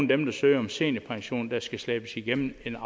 dem der søger om seniorpension der skal slæbes igennem en